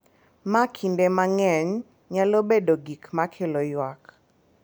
Ma kinde mang’eny nyalo bedo gik ma kelo ywak.